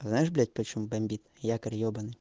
знаешь блять почему бомбит якорь ёбаный